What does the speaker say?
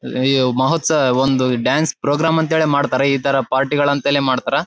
ಮಹೋತ್ಸವ ಒಂದು dance programme ಅಂತಾನೆ ಮಾಡ್ತಾರಾ ಈ ತರ ಪಾರ್ಟಿ ಗಳ ಅಂಥೇಳಿ ಮಾಡ್ತಾರಾ.